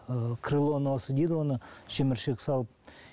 ы крыло носа дейді оны шеміршек салып